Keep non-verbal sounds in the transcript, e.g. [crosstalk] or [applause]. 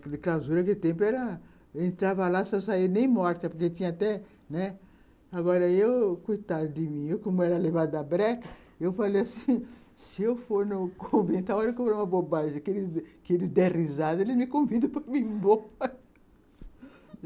Clausura, que o tempo era... Entrava lá, só saía nem morta, porque tinha até...né! Agora, eu, coitada de mim, como era levado da breca, eu falei assim, [laughs] se eu for no convento, a hora que eu vou numa bobagem, aqueles dê risada, eles me convidam para ir embora. [laughs]